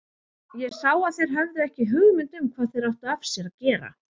Ég sá að þeir höfðu ekki hugmynd um hvað þeir áttu af sér að gera.